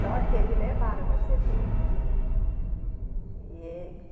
Só que eles levaram o meu cê dê. Hum. E